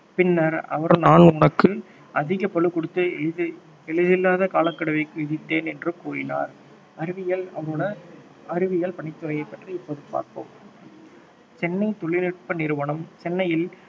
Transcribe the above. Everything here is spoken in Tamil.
பின்னர் அவர் நான் உனக்கு அதிக பளு கொடுத்து எளிதில்லாத காலக்கெடுவை விதித்தேன் என்று கூறினார் அறிவியல் அவருடைய அறிவியல் பணித்துறையை பற்றி இப்பொழுது பார்ப்போம் சென்னை தொழில்நுட்ப நிறுவனம் சென்னையில்